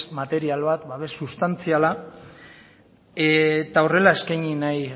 material bat babes sustantziala eta horrela eskaini nahi